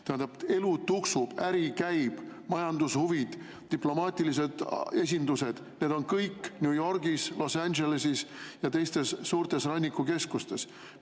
Tähendab, elu tuksub, äri käib, majandushuvid, diplomaatilised esindused – need on kõik New Yorgis, Los Angeleses ja teistes suurtes rannikukeskustes.